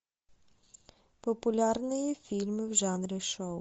популярные фильмы в жанре шоу